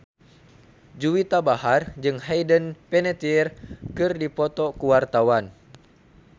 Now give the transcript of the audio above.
Juwita Bahar jeung Hayden Panettiere keur dipoto ku wartawan